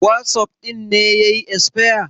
wasof ɗin ne ya yi esfaya